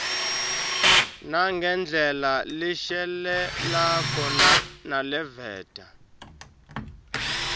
nangendlela leshelelako naleveta